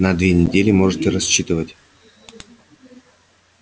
на две недели можете рассчитывать